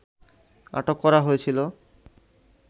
আটক করা হয়েছিল